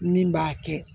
Min b'a kɛ